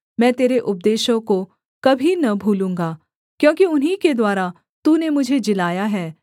मैं तेरे उपदेशों को कभी न भूलूँगा क्योंकि उन्हीं के द्वारा तूने मुझे जिलाया है